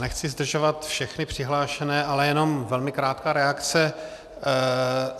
Nechci zdržovat všechny přihlášené, ale jenom velmi krátká reakce.